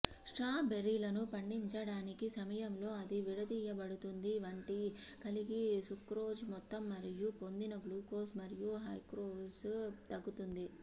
స్ట్రాబెర్రీలను పండించటానికి సమయంలో అది విడదీయబడుతుంది వంటి కలిగి సుక్రోజ్ మొత్తం మరియు పొందిన గ్లూకోజ్ మరియు ఫ్రూక్టోజ్ తగ్గుతుంది